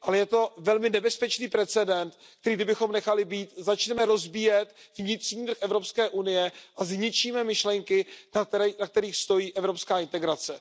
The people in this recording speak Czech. Ale je to velmi nebezpečný precedent, který kdybychom nechali být, začneme rozbíjet vnitřní trh Evropské unie a zničíme myšlenky, na kterých stojí evropská integrace.